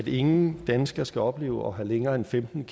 ingen danskere skal opleve at have længere end femten